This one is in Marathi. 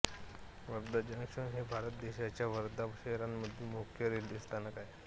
वर्धा जंक्शन हे भारत देशाच्या वर्धा शहरामधील मुख्य रेल्वे स्थानक आहे